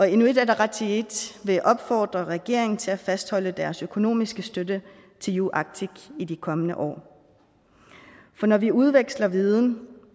inuit ataqatigiit vil opfordre regeringen til at fastholde deres økonomiske støtte til uarctic i de kommende år for når vi udveksler viden